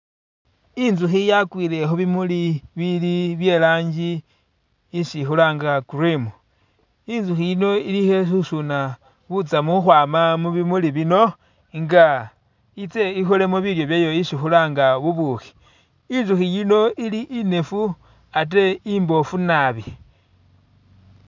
I'nzukhi yakwile khubimuli bili byerangi isi khulanga cream, i'nzukhi yino ili khususuna butsamu khwama mubimuli bino nga i'tse i'kholemo bilyo byayo ishi khulanga bubukhi, i'nzukhi yino ili i'nefu ate i'mboofu naabi